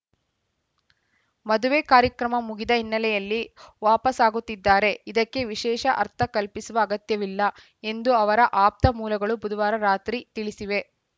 ಮದುವೆ ಕಾರ್ಯಕ್ರಮ ಮುಗಿದ ಹಿನ್ನೆಲೆಯಲ್ಲಿ ವಾಪಸಾಗುತ್ತಿದ್ದಾರೆ ಇದಕ್ಕೆ ವಿಶೇಷ ಅರ್ಥ ಕಲ್ಪಿಸುವ ಅಗತ್ಯವಿಲ್ಲ ಎಂದು ಅವರ ಆಪ್ತ ಮೂಲಗಳು ಬುಧವಾರ ರಾತ್ರಿ ತಿಳಿಸಿವೆ